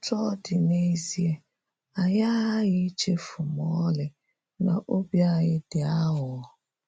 Otú ọ dị, n’ezie, anyị agaghị echefu ma ọlị na obi anyị dị aghụghọ.